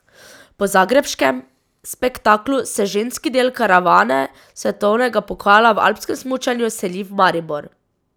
Po zagrebškem spektaklu se ženski del karavane svetovnega pokala v alpskem smučanju seli v Maribor.